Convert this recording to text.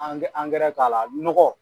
Angɛrɛ angɛrɛ k'a la nɔgɔ